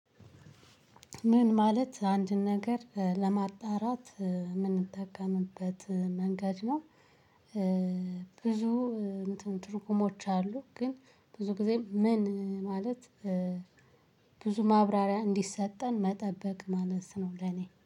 ምን ማለት አንድን ነገር ለማጣራት ምንጠቀምበት መንገድ ነው? ብዙ እንትን ትርጉሞች አሉ። ግን ብዙ ጊዜም ምን ማለት ብዙ ማብራሪያ እንዲሰጠን መጠበቅ ማለት ነው። ለኔ